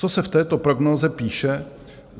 Co se v této prognóze píše?